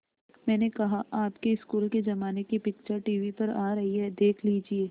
मैंने कहा आपके स्कूल के ज़माने की पिक्चर टीवी पर आ रही है देख लीजिये